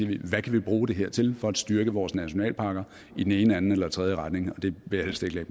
vi hvad kan vi bruge det her til for at styrke vores nationalparker i den ene anden eller tredje retning det vil